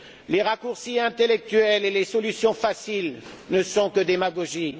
Les raccourcis intellectuels et les solutions faciles ne sont que démagogie.